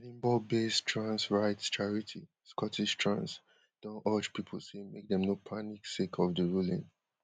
edinburghbased trans rights charity scottish trans don urge pipo say make dem no panic sake of di ruling